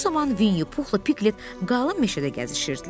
Bu zaman Vinyu Puhla Piglet qalın meşədə gəzişirdilər.